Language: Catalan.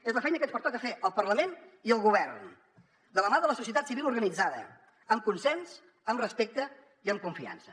és la feina que ens pertoca fer al parlament i al govern de la mà de la societat civil organitzada amb consens amb respecte i amb confiança